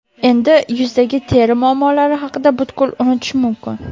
Endi yuzdagi teri muammolari haqida butkul unutish mumkin!